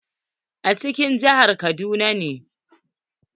A cikin jihar kaduna ne.